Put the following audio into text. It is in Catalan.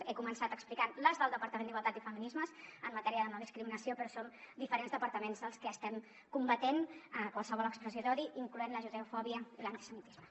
he començat explicant les del departament d’igualtat i feminismes en matèria de no discriminació però som diferents departaments els que estem combatent qualsevol expressió d’odi incloent la judeofòbia i l’antisemitisme